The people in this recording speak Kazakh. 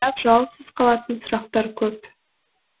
бірақ жауапсыз қалатын сұрақтар көп